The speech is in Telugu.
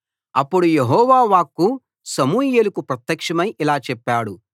అప్పుడు యెహోవా వాక్కు సమూయేలుకు ప్రత్యక్షమైఇలా చెప్పాడు